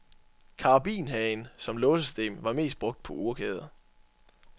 Karabinhagen som låsesystem var mest brugt på urkæder.